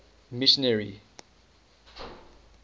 missionary